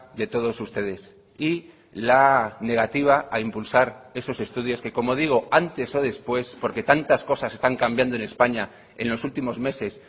de todos ustedes y la negativa a impulsar esos estudios que como digo antes o después porque tantas cosas están cambiando en españa en los últimos meses